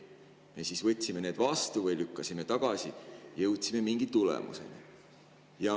Me võtsime need vastu või lükkasime tagasi, jõudsime mingi tulemuseni.